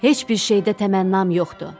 Heç bir şeydə təmənnam yoxdur.